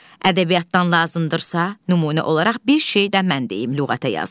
Ədəbiyyatdan lazımdırsa, nümunə olaraq bir şey də mən deyim lüğətə yaz.